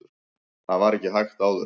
þetta var ekki hægt áður